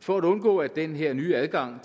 for at undgå at den her nye adgang